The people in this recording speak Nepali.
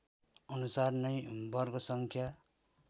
अनुसार नै वर्गसङ्ख्या